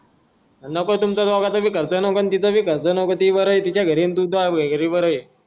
अरे नको तुमचं दोघाचा भी खर्च नको अन तिचा भी खर्च ती बरं तिच्या घरी अन तू तूह्या घरी बरंय